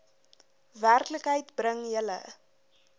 werklikheid bring julle